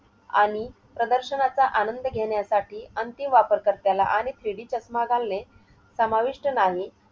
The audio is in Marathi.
आणि प्रदर्शनाचा आनंद घेण्यासाठी अंतिम वापरकर्त्याला आणि three D चष्मा घालणे समाविष्ट नाही.